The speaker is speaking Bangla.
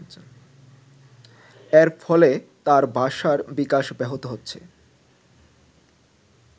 এর ফলে তার ভাষার বিকাশ ব্যহত হচ্ছে।